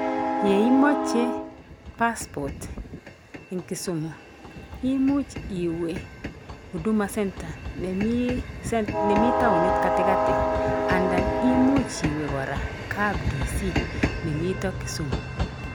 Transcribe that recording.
Yeimoche passport ing Kisumu, imuch iwe Huduma centre nemi taonit katikati anan imuch iwe kora kap distric commissioner nemito Kisumu.